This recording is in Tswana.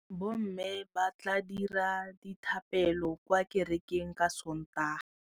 Bommê ba tla dira dithapêlô kwa kerekeng ka Sontaga.